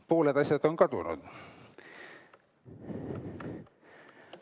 Pooled asjad on kadunud ...